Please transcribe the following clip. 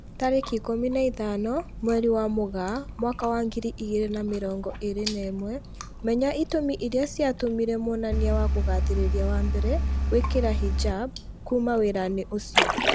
Tarĩki ikũmi na ithano mweri wa Mũgaa mwaka wa ngiri igĩri na mĩrongo ĩri na ĩmwe, Menya itũmi irĩa ciatũmire mwonania wa kugathĩrĩria wa mbere gwĩkira hijab "kuma wĩra-inĩ ucio"